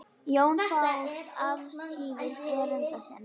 Jón fór afsíðis erinda sinna.